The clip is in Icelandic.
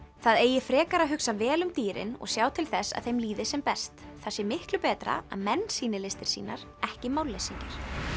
það á frekar að hugsa vel um dýrin og sjá til þess að þeim líði sem best það er miklu betra að menn sýni listir sínar ekki málleysingjar